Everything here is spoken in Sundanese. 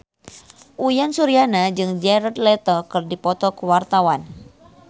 Uyan Suryana jeung Jared Leto keur dipoto ku wartawan